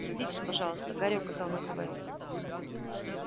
садитесь пожалуйста гарри указал на кровать